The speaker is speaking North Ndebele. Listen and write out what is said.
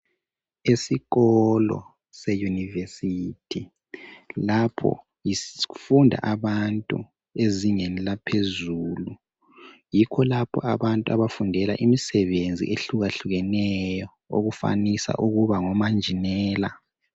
Isikolo se university lapho kufunda abantu bezingeni laphezulu yikho lapho abantu abafundela imisebenzi ehluka hlukeneyo okufanisa ukuba ngomanjinela.